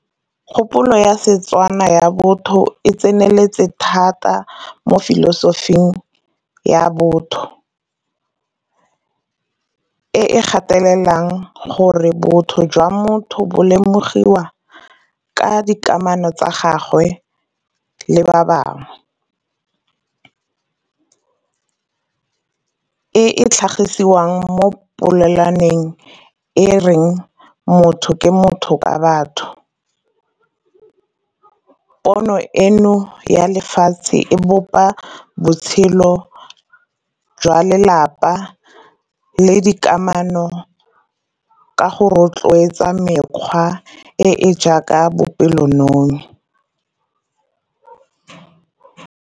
Kgopolo ya Setswana ya botho e tseneletse thata mo filosofing ya botho. E e gatelelang gore botho jwa motho bo lemogiwa ka dikamano tsa gagwe le ba bangwe. E e tlhagiswang mo polelwaneng e reng motho ke motho ka batho. Pono eno ya lefatshe e bopa botshelo jwa lelapa le dikamano ka go rotloetsa mekgwa e e jaaka bopelonomi.